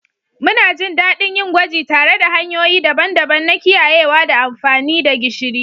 Muna jin daɗin yin gwaji tare da hanyoyi daban-daban na kiyayewa da amfani da gishiri.